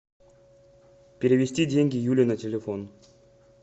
перевести деньги юле на телефон